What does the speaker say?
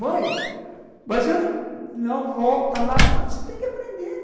Mãe, mas eu não... Não, volta lá, você tem que aprender.